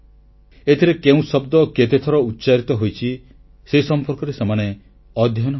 ଏଥିରେ କେଉଁ ଶବ୍ଦ କେତେଥର ଉଚ୍ଚାରିତ ହୋଇଛି ସେ ସମ୍ପର୍କରେ ସେମାନେ ଅଧ୍ୟୟନ କଲେ